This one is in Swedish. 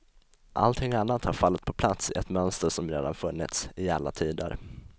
Allting annat har fallit på plats i ett mönster som redan funnits, i alla tider.